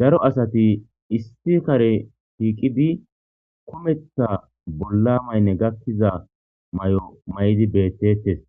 Daro asati issi kare tiiqidi kumetha bolla maynne gakkiza may'o may'di beettetes